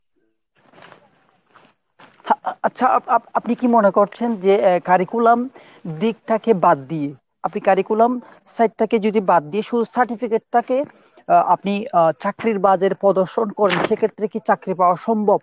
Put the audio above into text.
আচ্ছা আ~ আপনি কী মনে করছেন যে curriculum দিকটাকে বাদ দিয়ে আপনি curriculum side টাকে যদি বাদ দিয়ে শুধু certificate টাকে আহ আপনি আহ চাকরির বাজারে প্রদর্শন করেন সেক্ষেত্রে কী চাকরি পাওয়া সম্ভব ?